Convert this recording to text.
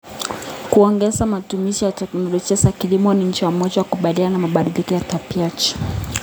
Kuongeza matumizi ya teknolojia za kilimo ni njia moja ya kukabiliana na mabadiliko ya tabianchi.